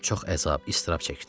Çox əzab-iztirab çəkdim.